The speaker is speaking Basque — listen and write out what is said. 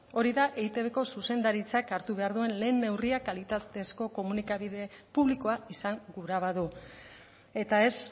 hori da eitbko zuzendaritzak hartu behar duen lehen neurria kalitatezko komunikabide publikoa izan gura badu eta ez